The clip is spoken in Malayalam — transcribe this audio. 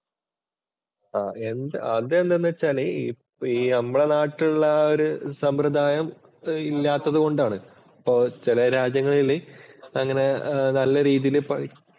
എന്ത് അതെന്താന്നു വച്ചാല് ഈ നമ്മുടെ നാട്ടിലുള്ള ആ ഒരു സമ്പ്രദായം ഇല്ലാത്തതുകൊണ്ടാണ്. അപ്പൊ ചെല രാജ്യങ്ങളില് അങ്ങനെ നല്ല രീതിയില്